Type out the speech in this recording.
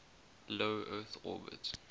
low earth orbit